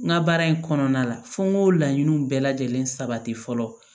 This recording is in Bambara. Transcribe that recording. N ka baara in kɔnɔna la fo n k'o laɲiniw bɛɛ lajɛlen sabati fɔlɔ